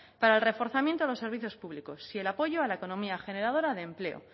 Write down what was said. para el reforzamiento de los servicios públicos y el apoyo a la economía generadora de empleo